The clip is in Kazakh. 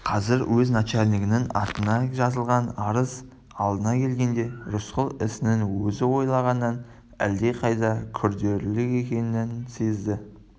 қазір уезд начальнигінің атына жазылған арыз алдына келгенде рысқұл ісінің өзі ойлағаннан әлдеқайда күрделірек екенін сезді